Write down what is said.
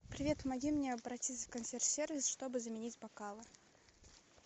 привет помоги мне обратиться в консьерж сервис чтобы заменить бокалы